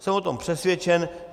Jsem o tom přesvědčen.